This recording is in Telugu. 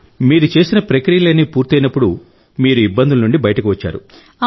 మీరు చేసిన ప్రక్రియలన్నీ పూర్తయినప్పుడు మీరు ఇబ్బందుల నుండి బయటకు వచ్చారు